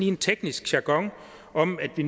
en teknisk jargon om at de